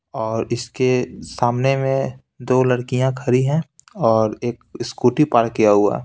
और इसके सामने में दो लड़कियां खड़ी हैं और एक स्कूटी पार्क किया हुआ है।